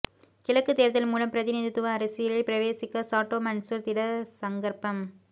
கிழக்கு தேர்தல் மூலம் பிரதிநிதித்துவ அரசியலில் பிரவேசிக்க சாட்டோ மன்சூர் திடசங்கற்பம்